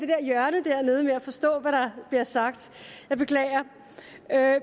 det hjørne dernede med at forstå hvad der bliver sagt jeg beklager